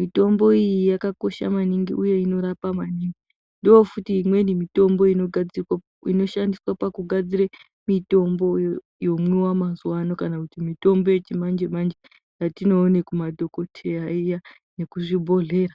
Mitombo iyi yakakosha maningi uye inorapa maningi. Ndoofuti imweni mitombo yoshandiswa pakugadzire mitombo yomwiwa mazuvaano kana kuti mitombo yechimanje-manje yatinoone kumadhogoteya iya, nekuzvibhohlera.